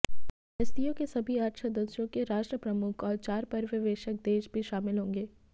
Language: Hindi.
एससीओ के सभी आठ सदस्यों के राष्ट्र प्रमुख और चार पर्यवेक्षक देश भी शामिल होंगे